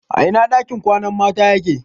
A ina ɗakin kwanan mata yake?